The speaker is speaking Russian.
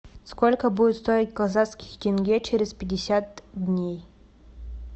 сколько будет стоить казахский тенге через пятьдесят дней